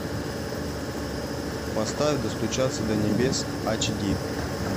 поставь достучаться до небес ач ди